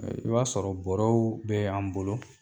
I b'a sɔrɔ bɔrɔw be an bolo